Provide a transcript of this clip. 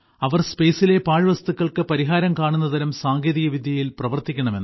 അവർ സ്പേസിലെ പാഴ്വസ്തുക്കൾക്ക് പരിഹാരം കാണുന്നതരം സാങ്കേതിക വിദ്യയിൽ പ്രവർത്തിക്കണം എന്ന്